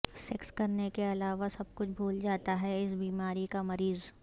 sex کرنے کے علاوہ سب کچھ بھول جاتا ہے اس بیماری کا مریض